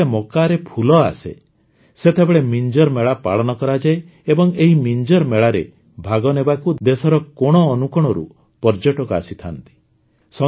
ଯେତେବେଳେ ମକାରେ ଫୁଲ ଆସେ ସେତେବେଳେ ମିଞ୍ଜର୍ ମେଳା ପାଳନ କରାଯାଏ ଏବଂ ଏହି ମିଞ୍ଜର ମେଳାରେ ଭାଗ ନେବାକୁ ଦେଶର କୋଣଅନୁକୋଣରୁ ପର୍ଯ୍ୟଟକ ଆସିଥାନ୍ତି